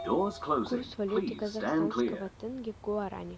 курс валюты казахстанского тенге к гуарани